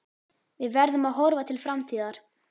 Við verðum að horfa til framtíðar.